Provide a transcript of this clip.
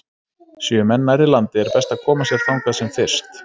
Séu menn nærri landi er best að koma sér þangað sem fyrst.